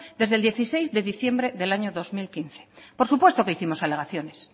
desde el dieciséis de diciembre del año dos mil quince por supuesto que hicimos alegaciones